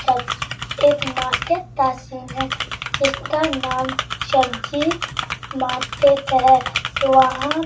सब एक मार्केट का सीन है जिसका नाम सब्जी मार्केट है वहां --